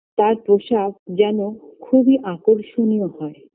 তার পোশাক যেন খুবই আকর্ষণীয় হয়